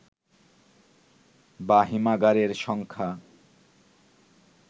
বা হিমাগারের সংখ্যা